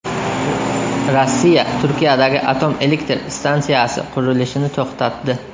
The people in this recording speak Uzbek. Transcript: Rossiya Turkiyadagi atom elektr stansiyasi qurilishini to‘xtatdi.